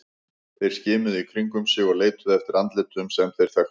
Þeir skimuðu í kringum sig og leituðu eftir andlitum sem þeir þekktu.